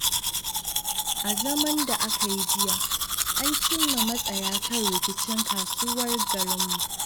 A zaman da aka yi jiya, an cimma matsaya kan rikicin kasuwar garinmu.